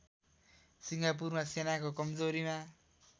सिङ्गापुरमा सेनाको कमजोरीमा